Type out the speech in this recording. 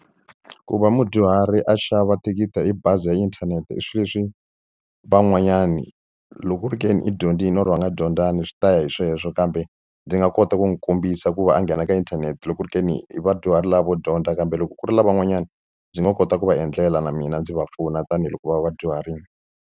Ku va mudyuhari a xava thikithi hi bazi ya inthanete i swilo leswi van'wanyani loko u ri ke ni i dyondzile or nga dyondzana swi ta ya hi sweswo kambe ndzi nga kota ku n'wi kombisa ku va a nghena ka inthanete loko ri ke ni i vadyuhari lava vo dyondza kambe loko ku ri lavan'wanyani ndzi nga kota ku va endlela na mina ndzi va pfuna tanihiloko va vadyuharile.